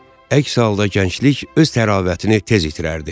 Əks halda gənclik öz təravətini tez itirərdi.